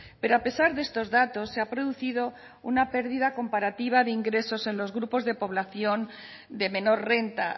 pero a pesar de estos datos se ha producido una pérdida comparativa de ingresos en los grupos de población de menor renta